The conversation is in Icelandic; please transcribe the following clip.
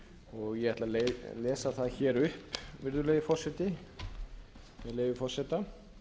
og ég ætla að lesa það hér upp virðulegi forseti með leyfi forseta